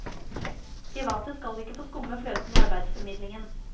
Private skal ikke få skumme fløten i arbeidsformidlingen.